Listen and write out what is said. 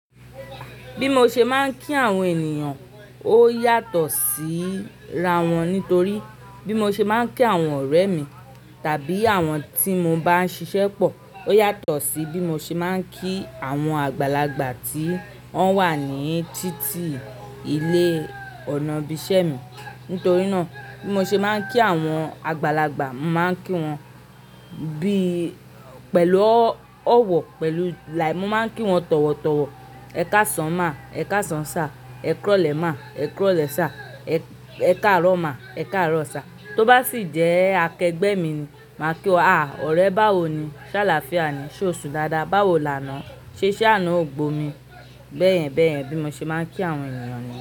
Bí mo ṣe máa ń kí àwọn ènìyàn ó yàtọ̀ sí ra wọn nítorí bí mo ṣe máa ń kí àwọn ọ̀rẹ́ mi tàbí àwọn tí mo bá ń ṣiṣẹ́ pọ̀ ó yàtọ̀ sí bí mo ṣe máa ń kí àwọn àgbàlagbà tí wọ́n wà ní títí ilé ọ̀nà bí iṣẹ́ mi. Nítorí náà bí mo ṣe máa ń kí àwọn àgbàlagbà, màá ń kí wọn bí-- pẹ̀lú ọ̀wọ̀ pẹ̀lú làáì. Mo máa ń kí wọn tọ̀wọ̀tọ̀wọ̀. Ẹ káṣán ma, Ẹ káṣán sa, ẹ kúrọ̀lẹ́ má, ẹ kúrọ̀lẹ́ sá, ẹ káàárọ̀ má, ẹ káàárọ̀ sá. Tó bá sì jẹ́ akẹgbẹ́ mi ni màá kí wa, "a! Ọ̀rẹ́ báwo ni? Sálááfíà ni. Sé o sùn dáadáa? Báwo lánàá? Sé iṣẹ́ àná ò gbó mi?" Bẹ́ẹ̀yẹn bẹ́ẹ̀yẹn bí mo ṣe máa ń kí àwọn ènìyàn ni.